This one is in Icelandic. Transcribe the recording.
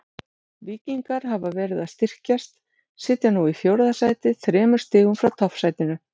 Víkingar hafa verið að styrkjast, sitja nú í fjórða sæti þremur stigum frá toppsætinu.